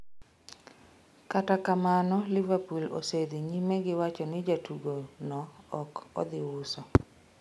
Kata kamano, Liverpool osedhi nyime gi wacho ni jatugo no ok odhi uso.